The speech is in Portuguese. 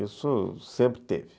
Isso sempre teve.